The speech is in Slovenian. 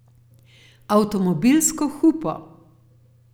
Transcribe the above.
Avtomobilsko hupo.